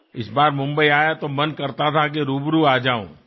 આ વખતે મુંબઈ આવ્યો હતો તો ઈચ્છા હતી કે પ્રત્યક્ષ મળવા આવી જઉં